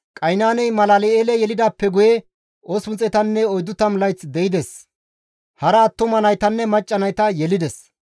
Qaynaaney Malal7eele yelidaappe guye 840 layth de7ides; hara attuma naytanne macca nayta yelides.